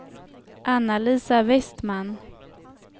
Anna-Lisa Westman